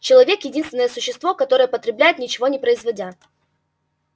человек единственное существо которое потребляет ничего не производя